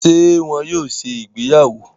Ṣe wón yóò ṣe ìgbéyàwó?